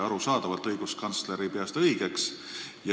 Arusaadavalt õiguskantsler ei pea seda õigeks.